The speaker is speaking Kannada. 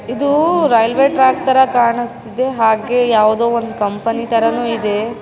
ಇದೂ ರೈಲ್ವೇ ಟ್ರಾಕ್‌ ತರ ಕಾಣಿಸ್ತಿದೆ ಯಾವುದೋ ಒಂದು ಕಂಪೆನಿ ತರಾನೂ ಇದೆ.